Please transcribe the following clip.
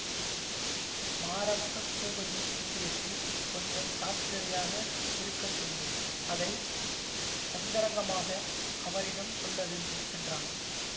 மாரப்ப பூபதி விஷயத்தில் கொஞ்சம் ஜாக்கிரதையாக இருக்க சொல்லு அதை அந்தரங்கமாக அவரிடம் சொல்லவேண்டும் என்றான்